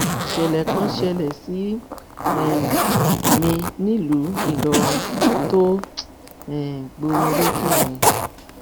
ìṣẹlẹ kan ṣẹlẹ sí um mi nílùú ìlọrin tó um gbomi lójú mi